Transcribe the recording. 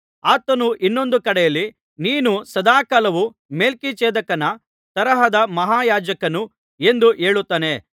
ಆತನು ಇನ್ನೊಂದು ಕಡೆಯಲ್ಲಿ ನೀನು ಸದಾಕಾಲವೂ ಮೆಲ್ಕಿಜೆದೇಕನ ತರಹದ ಮಹಾಯಾಜಕನು ಎಂದು ಹೇಳುತ್ತಾನೆ